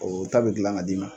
O ta bɛ gilan ka d'i ma.